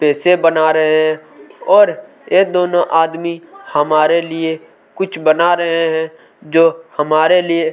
पैसे बना रहै हैं और ये दोनों आदमी हमारे लिए कुछ बना रहै हैं जो हमारे लिए--